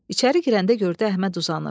İçəri girəndə gördü Əhməd uzanıb.